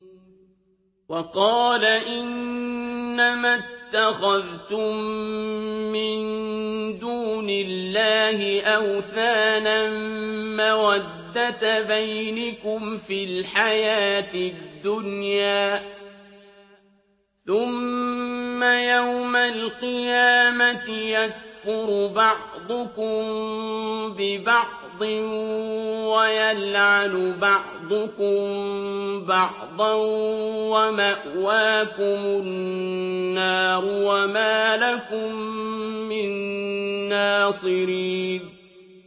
وَقَالَ إِنَّمَا اتَّخَذْتُم مِّن دُونِ اللَّهِ أَوْثَانًا مَّوَدَّةَ بَيْنِكُمْ فِي الْحَيَاةِ الدُّنْيَا ۖ ثُمَّ يَوْمَ الْقِيَامَةِ يَكْفُرُ بَعْضُكُم بِبَعْضٍ وَيَلْعَنُ بَعْضُكُم بَعْضًا وَمَأْوَاكُمُ النَّارُ وَمَا لَكُم مِّن نَّاصِرِينَ